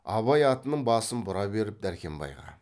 абай атының басын бұра беріп дәркембайға